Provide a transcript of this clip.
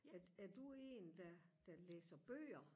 er er du en der der læser bøger